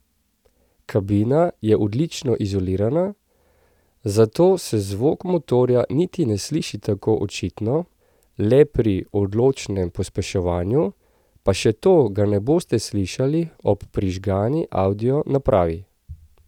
Kabina je odlično izolirana, zato se zvok motorja niti ne sliši tako očitno, le pri odločnem pospeševanju, pa še to ga ne boste slišali ob prižgani audio napravi.